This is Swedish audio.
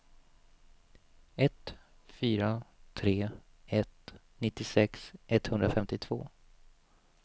ett fyra tre ett nittiosex etthundrafemtiotvå